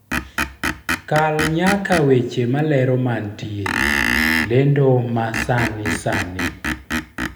kal nyaka weche malero mantie ,lendo ma sani sani